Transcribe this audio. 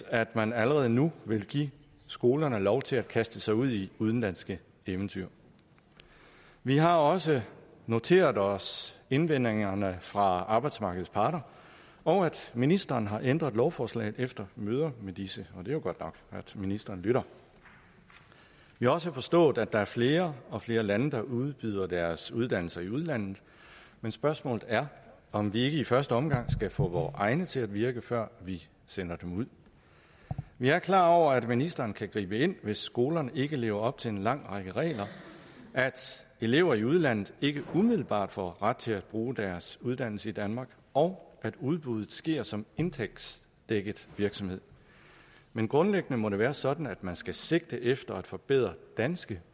at man allerede nu vil give skolerne lov til at kaste sig ud i udenlandske eventyr vi har også noteret os indvendingerne fra arbejdsmarkedets parter og at ministeren har ændret lovforslaget efter møder med disse og det er jo godt nok at ministeren lytter vi har også forstået at der er flere og flere lande der udbyder deres uddannelser i udlandet men spørgsmålet er om vi ikke i første omgang skal få vore egne til at virke før vi sender dem ud vi er klar over at ministeren kan gribe ind hvis skolerne ikke lever op til en lang række regler at elever i udlandet ikke umiddelbart får ret til at bruge deres uddannelse i danmark og at udbuddet sker som indtægtsdækket virksomhed men grundlæggende må det være sådan at man skal sigte efter at forbedre danske